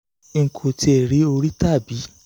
n kò tiẹ̀ rí orí tàbí